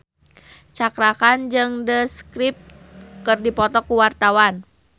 Cakra Khan jeung The Script keur dipoto ku wartawan